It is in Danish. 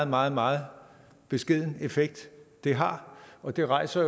meget meget beskeden effekt det har og det rejser